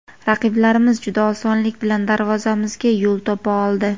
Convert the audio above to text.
Raqiblarimiz juda osonlik bilan darvozamizga yo‘l topa oldi.